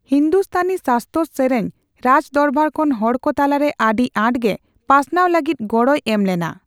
ᱦᱤᱱᱫᱩᱥᱛᱟᱱᱤ ᱥᱟᱥᱛᱚᱨ ᱥᱮᱨᱮᱧ ᱨᱟᱡᱽ ᱫᱚᱨᱵᱟᱨ ᱠᱷᱚᱱ ᱦᱚᱲ ᱠᱚ ᱛᱟᱞᱟᱨᱮ ᱟᱹᱰᱤ ᱟᱸᱴᱛᱮ ᱯᱟᱥᱱᱟᱣ ᱞᱟᱹᱜᱤᱫ ᱜᱚᱲᱚᱭ ᱮᱢ ᱞᱮᱱᱟ ᱾